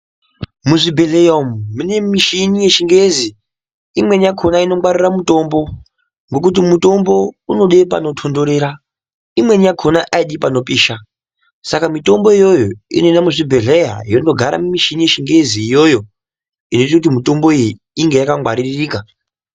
Muzvibhedhleya umu mune mishini yechingezi. Imweni yakona inongwarira mutombo ngokuti mutombo unode pandotontorera imweni yakona ayidi panopisha. Saka mitombo iyoyo inoenda muchibhedhleya yondogare mumishini yechingezi iyoyo inoite kuti mitombo iyi inge yakangwaririka.